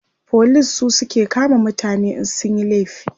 police su suke kama mutane in sun Yi laifi